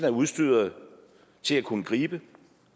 er udstyret til at kunne gribe